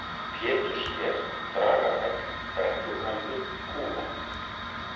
Péturssker, Dragafell, Brekkukambur, Kúla